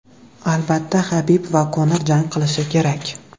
Albatta, Habib va Konor jang qilishi kerak.